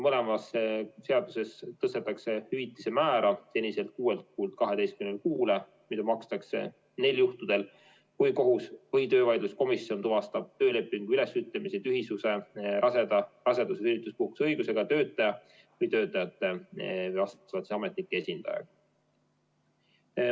Mõlemas seaduses tõstetakse hüvitise määra seniselt kuuelt kuult 12 kuule, mil makstakse hüvitist neil juhtudel, kui kohus või töövaidluskomisjon tuvastab töölepingu ülesütlemise tühisuse raseda, rasedus- või sünnituspuhkuse õigusega töötaja või töötajate, vastavalt siis ametnike esindajaga.